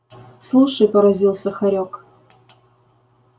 слушай поразился хорёк